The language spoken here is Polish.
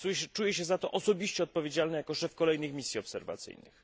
Czuję się za to osobiście odpowiedzialny jako szef kolejnych misji obserwacyjnych.